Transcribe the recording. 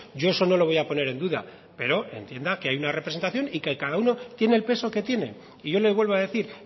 yo eso no lo voy a poner en duda pero entienda que hay una representación y que cada uno tiene el peso que tiene y yo le vuelvo a decir